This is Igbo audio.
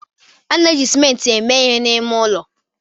A na-eji simenti eme ihe n'ime ụlọ.